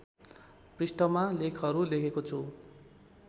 पृष्ठमा लेखहरु लेखेको छु